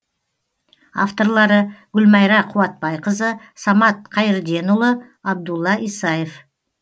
авторлары гүлмайра қуатбайқызы самат қайірденұлы абдулла исаев